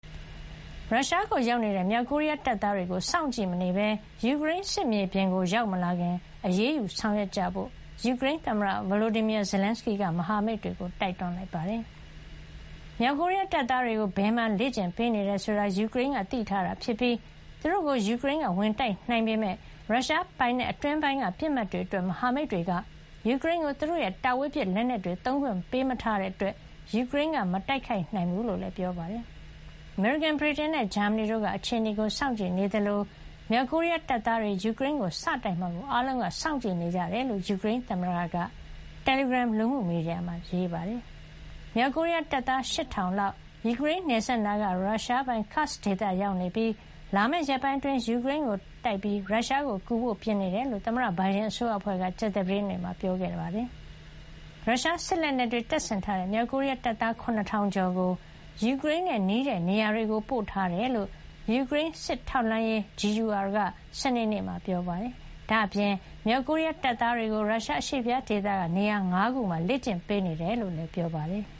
ရုရှားကိုရောက်နေတဲ့ မြောက်ကိုရီးယားတပ်သားတွေကို စောင့်ကြည့်မနေပဲ ယူကရိန်း စစ်မြေပြင်ကို ရောက်မလာခင် အရေးယူဆောင်ရွက်ကြဖို့ ယူကရိန်းသမ္မတ Volodymyr Zelenskyy က မဟာမိတ်တွေကို တိုက်တွန်းလိုက်ပါတယ်။ မြောက်ကိုရီးယား တပ်သားတွေကို ဘယ်မှာ လေ့ကျင့်ပေးနေတယ်ဆိုတာကို ယူကရိန်းက သိထားတာဖြစ်ပြီး သူတို့ကို ယူကရိန်းက ဝင်တိုက်နိုင်ပေမယ့် ရုရှားပိုင်နက်အတွင်းပိုင်းက ပစ်မှတ်တွေအတွက် မဟာမိတ်တွေက ယူကရိန်းကို သူတို့ရဲ့ တာဝေးပစ် လက်နက်တွေ သုံးခွင့် ပေးမထားတာကြောင့် ယူကရိန်းက မတိုက်ခိုက်နိုင်ကြောင်းလည်း ပြောပါတယ်။ အမေရိကန်၊ ဗြိတိန်နဲ့ ဂျာမနီတို့က အခြေအနေကို စောင့်ကြည့်နေကြသလို၊ မြောက်ကိုရီးယားတပ်သားတွေ ယူကရိန်းကို စတိုက်မှာကို အားလုံးက စောင့်ကြည့်နေကြတယ်လို့ ယူကရိန်းသမ္မတက သောကြာနေ့ညပိုင်း တယ်လီဂရမ် လူမှုမီဒီယာမှာ ရေးပါတယ်။ မြောက်ကိုရီးယား တပ်သား ၈,၀၀၀ လောက်ဟာ ယူကရိန်းနယ်စပ်နားက ရုရှားပိုင် Kursk ဒေသမှာ ရောက်နေသလို၊ လာမယ့် ရက်ပိုင်းအတွင်း ယူကရိန်းကိုတိုက်ပြီး ရုရှားကိုကူဖို့ ပြင်ဆင်နေတယ်လို့ သမ္မတဘိုင်ဒန် အစိုးရအဖွဲ့က ကြာသပတေးနေ့က ပြောကြားခဲ့တာပါ။ ရုရှားစစ်လက်နက်တွေ တပ်ဆင်ထားတဲ့ မြောက်ကိုရီးယား တပ်သား ၇,၀၀၀ ကျော်ကို ယူကရိန်းနဲ့ နီးတဲ့နေရာတွေကို ပို့ထားတယ်လို့ ယူကရိန်း စစ်ထောက်လှမ်းရေး GUR က စနေနေ့မှာ ပြောပါတယ်။ ဒါ့အပြင် မြောက်ကိုရီးယား တပ်သားတွေကို ရုရှား အရှေ့ဖျားဒေသက နေရာ ၅ နေရာမှာ လေ့ကျင့်ပေးနေတယ်လို့လည်း ပြောပါတယ်။